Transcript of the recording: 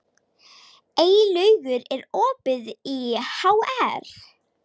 Eylaugur, er opið í HR?